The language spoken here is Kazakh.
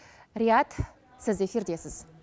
рияд сіз эфирдесіз